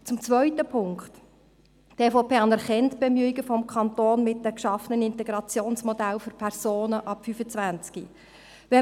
Zum zweiten Punkt: Die EVP anerkennt die Bemühungen des Kantons mit den geschaffenen Integrationsmodellen für Personen ab 25.